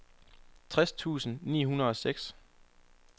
tres tusind ni hundrede og seks